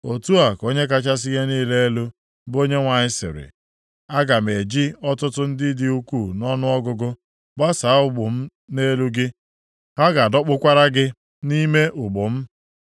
“ ‘Otu a ka Onye kachasị ihe niile elu, bụ Onyenwe anyị sịrị, “ ‘Aga m eji ọtụtụ ndị dị ukwuu nʼọnụọgụgụ gbasaa ụgbụ m nʼelu gị. Ha ga-adọkpụkwara gị nʼime ụgbụ m.